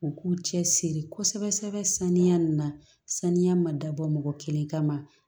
U k'u cɛ siri kosɛbɛ saniya na saniya ma dabɔ mɔgɔ kelen kama